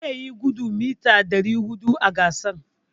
Zai yi gudun mita ɗari huɗu a gasar.